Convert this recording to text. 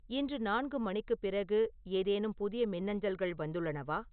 இன்று நான்கு மணிக்குப் பிறகு ஏதேனும் புதிய மின்னஞ்சல்கள் வந்துள்ளனவா